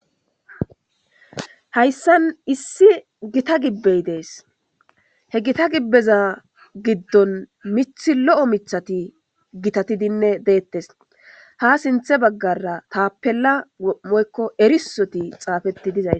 Hayisan issi geta gibeyi dese he gita gibeza gidon mithi lo'o mithati gitatine detes hasinitha bagara tapela woyiko erisoti xapeti de'es